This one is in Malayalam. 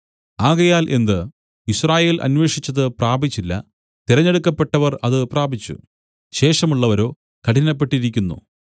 ആകയാൽ എന്ത് യിസ്രായേൽ അന്വേഷിച്ചത് പ്രാപിച്ചില്ല തിരഞ്ഞെടുക്കപ്പെട്ടവർ അത് പ്രാപിച്ചു ശേഷമുള്ളവരോ കഠിനപ്പെട്ടിരിക്കുന്നു